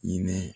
Hinɛ